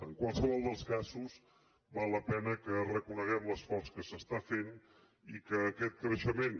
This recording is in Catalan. en qualsevol dels casos val la pena que reconeguem l’esforç que s’està fent i que aquest creixement